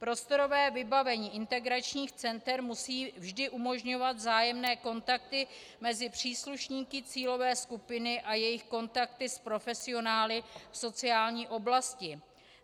Prostorové vybavení integračních center musí vždy umožňovat vzájemné kontakty mezi příslušníky cílové skupiny a jejich kontakty s profesionály v sociální oblasti.